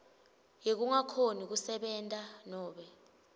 yekungakhoni kusebenta nobe